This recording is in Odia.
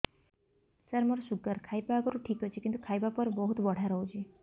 ସାର ମୋର ଶୁଗାର ଖାଇବା ଆଗରୁ ଠିକ ଅଛି କିନ୍ତୁ ଖାଇବା ପରେ ବହୁତ ବଢ଼ା ରହୁଛି